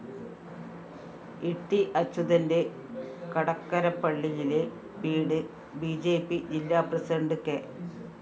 ഇട്ടി അച്യുതന്റെ കടക്കരപ്പള്ളിയിലെ വീട് ബി ജെ പി ജില്ലാ പ്രസിഡന്റ് കെ